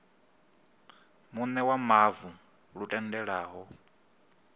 muṋe wa mavu lu tendelaho